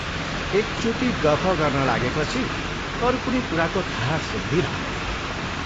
एकचोटि गफ गर्न लागेपछि अरू कुनै कुराको थाहा सुद्धी रहँदैन।